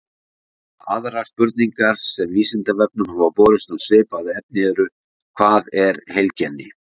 Aðrar spurningar sem Vísindavefnum hafa borist um svipað efni eru: Hvað er heilkenni?